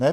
Ne?